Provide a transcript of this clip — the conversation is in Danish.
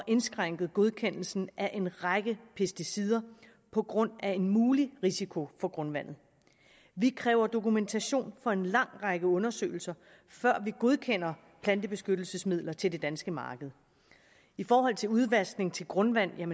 indskrænket godkendelsen af en række pesticider på grund af en mulig risiko for grundvandet vi kræver dokumentation for en lang række undersøgelser før vi godkender plantebeskyttelsesmidler til det danske marked i forhold til udvaskning til grundvandet